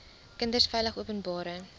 kinders veilig openbare